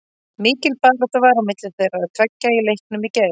Mikil barátta var á milli þeirra tveggja í leiknum í gær.